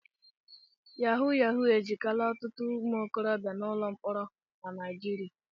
Yahu Yahu ezigala ọtụtụ ụmụ okorobịa n'ụlọ mkpọrọ na Naịjirịa.